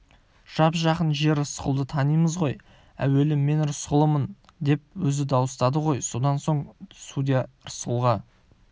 жап-жақын жер рысқұлды танимыз ғой әуелі мен рысқұлмын деп өзі дауыстады ғой содан соң судья рысқұлға